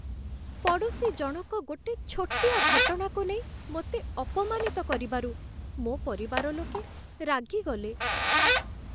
ପଡ଼ୋଶୀ ଜଣକ ଗୋଟେ ଛୋଟିଆ ଘଟଣାକୁ ନେଇ ମୋତେ ଅପମାନିତ କରିବାରୁ ମୋ ପରିବାର ଲୋକେ ରାଗିଗଲେ।